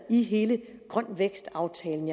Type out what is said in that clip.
i hele grøn vækst aftalen